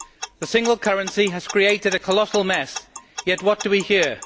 The single currency has created a colossal mess, yet what do we hear?